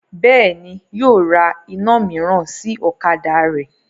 Bẹ́ẹ̀ni, yóò ra iná mìíràn sí ọ̀kadà rẹ́